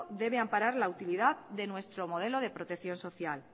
debe amparar la utilidad de nuestro modelo de protección social